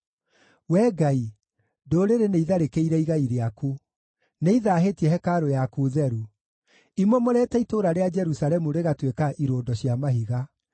Wee Ngai, ndũrĩrĩ nĩitharĩkĩire igai rĩaku; nĩithaahĩtie hekarũ yaku theru, imomorete itũũra rĩa Jerusalemu rĩgatuĩka irũndo cia mahiga.